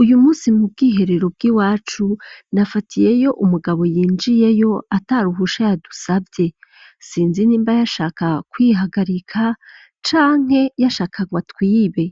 Uyu musi mu bwiherero bw'i wacu nafatiyeyo umugabo yinjiyeyo ata ruhusha ya dusavye sinzi nimba yashaka kwihagarika canke yashakarwa twibe